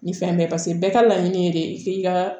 Ni fɛn bɛɛ bɛɛ ka laɲini ye de k'i ka